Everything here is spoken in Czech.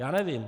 Já nevím.